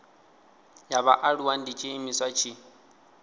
ya vhaaluwa ndi tshiimiswa tshi